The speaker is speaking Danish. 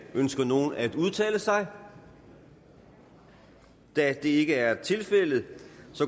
ønsker nogen at udtale sig da det ikke er tilfældet